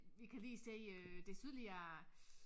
Vi kan lige se øh det sydlige af